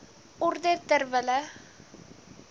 orde ter wille